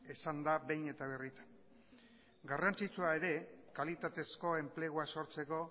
esan da behin eta birritan garrantzitsua ere kalitatezko enplegua sortzeko